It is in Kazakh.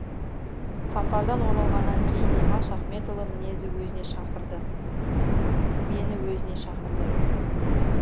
сапардан оралғаннан кейін димаш ахметұлы өзіне шақырды мені өзіне шақырды